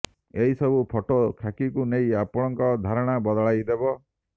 ଏହି ସବୁ ଫଟୋ ଖାକିକୁ ନେଇ ଆପଣଙ୍କ ଧାରଣା ବଦଳାଇ ଦେବ